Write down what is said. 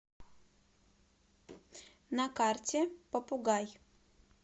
на карте попугай